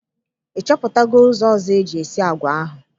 Ịchọpụta go ụzọ ọzọ eji esi agwa ahụ?